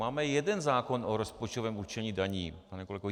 Máme jeden zákon o rozpočtovém určení daní, pane kolego.